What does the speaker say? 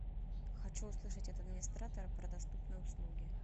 хочу услышать от администратора про доступные услуги